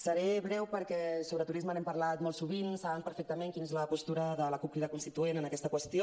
seré breu perquè de turisme n’hem parlat molt sovint saben perfectament quina és la postura de la cup crida constituent en aquesta qüestió